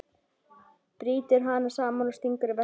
Brýtur hann saman og stingur í veskið.